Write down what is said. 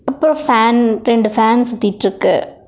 அப்றோ ஃபேன் ரெண்டு ஃபேன் சுத்திட்ருக்கு.